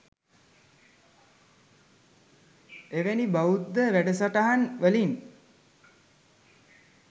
එවැනි බෞද්ධ වැඩසටහන් වලින්